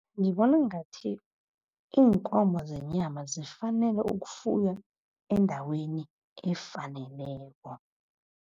Ngibona ngathi iinkomo zenyama zifanele ukufuywa endaweni efaneleko.